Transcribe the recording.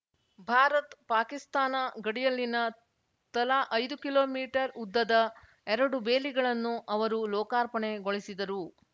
ಭಾರತ್ ಪಾಕಿಸ್ತಾನ ಗಡಿಯಲ್ಲಿನ ತಲಾ ಐದು ಕಿಮೀ ಉದ್ದದ ಎರಡು ಬೇಲಿಗಳನ್ನು ಅವರು ಲೋಕಾರ್ಪಣೆಗೊಳಿಸಿದರು